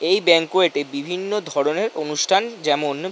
এই ব্যাংকোয়েট -এ বিভিন্ন ধরণের অনুষ্ঠান যেমন --